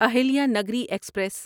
Ahilya Nagari express